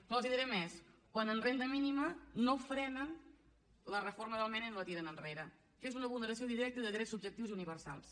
però els diré més quan en renda mínima no frenen la reforma del mena i no la tiren enrere que és una vulneració directa de drets subjectius i universals